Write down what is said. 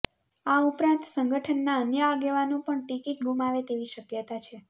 આ ઉપરાંત સંગઠનના અન્ય આગેવાનો પણ ટિકિટ ગૂમાવે તેવી શકયતા છે